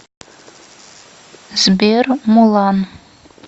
сбер мулан